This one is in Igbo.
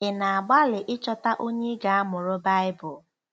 Ị̀ na-agbalị ịchọta onye ị ga-amụrụ Baịbụl?